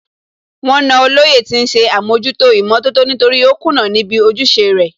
Wọ́n na Olóyè tí ń ṣe àmójútó ìmọ̀tótó nítorí ó kùnà níbi ojúṣe rẹ̀